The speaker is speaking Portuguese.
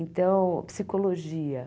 Então, psicologia.